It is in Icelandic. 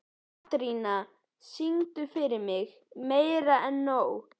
Katrína, syngdu fyrir mig „Meira En Nóg“.